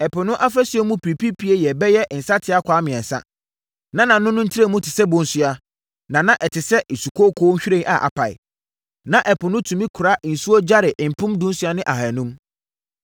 Ɛpo no afasuo mu pipiripie yɛ bɛyɛ nsateakwaa mmiɛnsa, na nʼano no ntrɛmu te sɛ bonsua, na na ɛte ɛsɛ sukooko nhwiren a apae. Na Ɛpo no tumi kora nsuo gyare mpem dunsia ne ahanum.